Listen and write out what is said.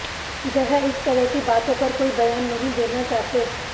वह इस तरह की बातों पर कोई बयान नहीं देना चाहते